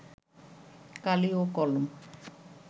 কালি ও কলম